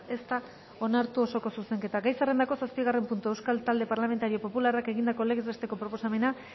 ez da onartu osoko zuzenketa gai zerrendako zazpigarren puntua euskal talde parlamentario popularrak egindako legez besteko proposamena